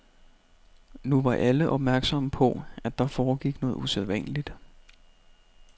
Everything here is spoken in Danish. Nu var alle opmærksomme på, at der foregik noget usædvanligt.